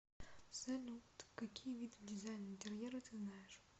салют какие виды дизайн интерьера ты знаешь